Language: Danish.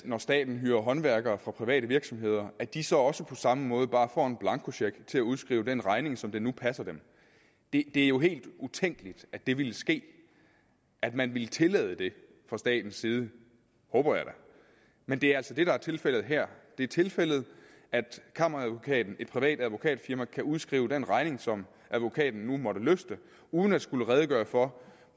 når staten hyrer håndværkere fra private virksomheder at de så også på samme måde bare får en blankocheck til at udskrive den regning som det nu passer dem det er jo helt utænkeligt at det ville ske at man ville tillade det fra statens side håber jeg da men det er altså det der er tilfældet her det er tilfældet at kammeradvokaten et privat advokatfirma kan udskrive den regning som advokaten nu måtte lyste uden at skulle redegøre for